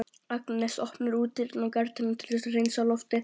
Agnes opnar útidyrnar og garðdyrnar til að hreinsa loftið.